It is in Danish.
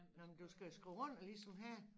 Nej men du skal skrive under ligesom her